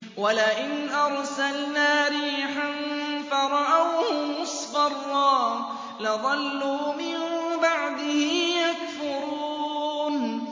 وَلَئِنْ أَرْسَلْنَا رِيحًا فَرَأَوْهُ مُصْفَرًّا لَّظَلُّوا مِن بَعْدِهِ يَكْفُرُونَ